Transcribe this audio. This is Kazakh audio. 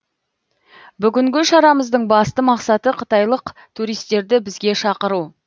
бүгінгі шарамыздың басты мақсаты қытайлық туристерді бізге шақыру